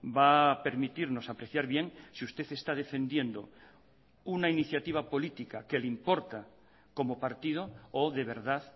va a permitirnos apreciar bien si usted está defendiendo una iniciativa política que le importa como partido o de verdad